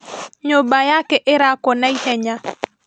Nyũmba yake ĩrakwo na ihenya